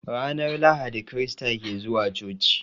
Ranar Lahadi krista ke zuwa coci.